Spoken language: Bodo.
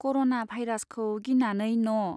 कर'ना भाइरास् खौ गिनानै न'